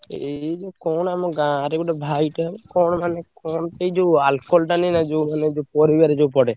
ଏଇ ଯୋଉ କଣ ଆମ ଗାଁରେ ଗୋଟେ ଭାଇଟେ କଣ ମାନେ କଣ ପାଇଁ ଯୋଉ alcohol ଟା ନାହିଁ ନା ଯୋଉ ମାନେ ଯୋଉ ପରିବାରେ ଯୋଉ ପଡେ।